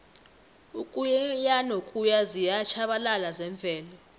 ukuyanokuya ziyatjhabalala zemvelo